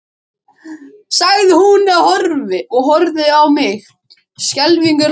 sagði hún og horfði á mig skelfingu lostin.